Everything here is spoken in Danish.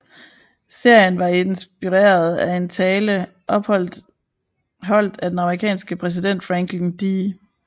Serien var inspireret af en tale holdt af den amerikanske præsident Franklin D